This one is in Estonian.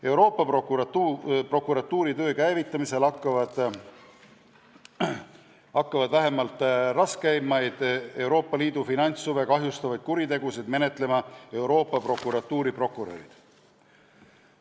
Euroopa Prokuratuuri töö käivitamisel hakkavad Euroopa Liidu finantshuve kahjustavaid raskeimaid kuritegusid menetlema Euroopa Prokuratuuri prokurörid.